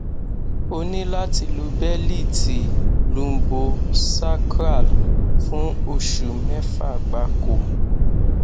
o ní láti lo bẹlíìtì lumbosacral fún oṣù mẹfà gbáko